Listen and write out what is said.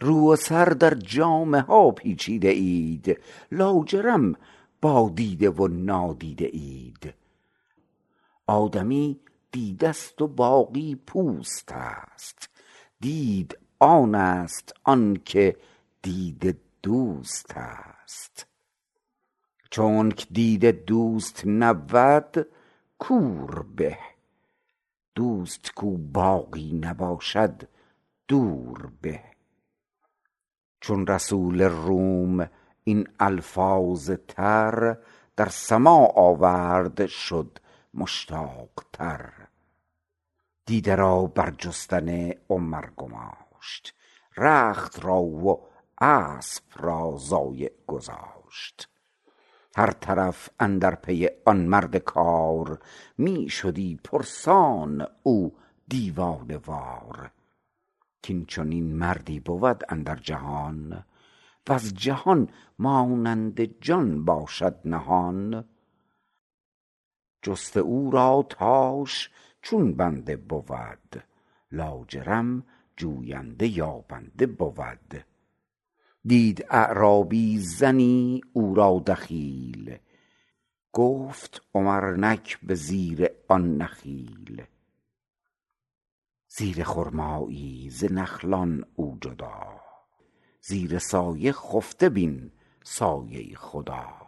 رو و سر در جامه ها پیچیده اید لاجرم با دیده و نادیده اید آدمی دیدست و باقی پوستست دید آنست آن که دید دوستست چونک دید دوست نبود کور به دوست کو باقی نباشد دور به چون رسول روم این الفاظ تر در سماع آورد شد مشتاق تر دیده را بر جستن عمر گماشت رخت را و اسپ را ضایع گذاشت هر طرف اندر پی آن مرد کار می شدی پرسان او دیوانه وار کین چنین مردی بود اندر جهان وز جهان مانند جان باشد نهان جست او را تاش چون بنده بود لاجرم جوینده یابنده بود دید اعرابی زنی او را دخیل گفت عمر نک به زیر آن نخیل زیر خرمابن ز خلقان او جدا زیر سایه خفته بین سایه خدا